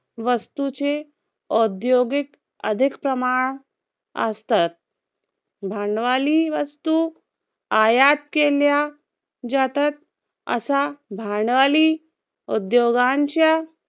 वस्तूचे औद्योगिक अधिक प्रमाण असतात. भांडवली वस्तू आयात केल्या जातात असा भांडवली उद्योगांच्या